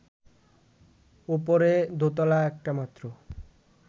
ওপরে দোতলা একটা মাত্র